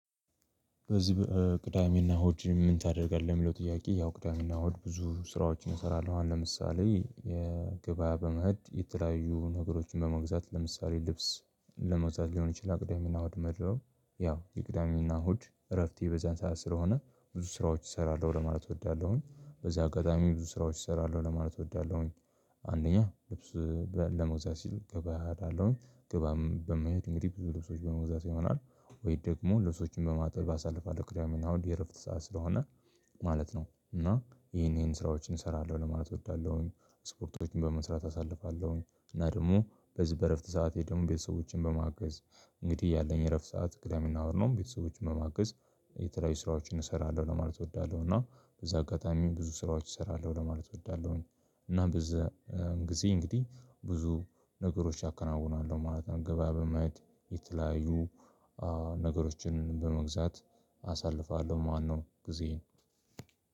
በዚህ ቅዳሜና እሁድ ምን ታደርጋለህ? የሚለው ጥያቄ ያው ቅዳሜና እሁድ ብዙ ስራዎችን እሰራለሁ አሁን ለምሳሌ ገበያ በመሄድ የተለያዩ ነገሮችን በመግዛት ለምሳሌ ልብስ ለመግዛት ሊሆን ይችላል ቅዳሜ እና እሁድ መድለው ያው የቅዳሜና እሁድ እረፍቴ በዛን ሰዓት ስለሆነ ብዙ ስራዎች እሰራለሁ ለማለት እወዳለሁኝ በዚህ አጋጣሚ ብዙ ስራዎች እሰራለሁ ለማለት እወዳለሁኝ። አንደኛ ልብስ ለመግዛት ስል ገበያ እሄዳለው ገበያም በመሄድ እንግዲህ ብዙ ልብሶች በመግዛት ይሆናል ወይ ደግሞ ልብሶችን በማጠብ አሳልፋለሁ ቅዳሜ እና እሁድ የእረፍት ሰዓት ስለሆነ ማለት ነው። እና ይሄን ይሄን ስራዎችን እሰራለሁ ለማለት እወዳለሁኝ። ስፖርቶችን በመስራት አሳልፋለሁኝ እና ደግሞ በዚህ በእረፍት ሰዓት ደግሞ ቤተሰቦቼን በማገዝ እንግዲህ ያለኝ የእረፍት ሰዓት ክለብ የሚናወር ነው። ቤተሰቦችን መማገዝ የተለያዩ ስራዎችን እሰራለሁ ለማለት እወዳለሁ እና በዛ አጋጣሚ ብዙ ስራዎች እሰራለሁ ለማለት እወዳለሁኝ። እና በዛ ጊዜ እንግዲህ ብዙ ነገሮች ያከናውናሉ ማለት ነው። ገበያ በመሄድ የተለያዩ ነገሮችን በመግዛት አሳልፋለሁ ማነው ጊዜ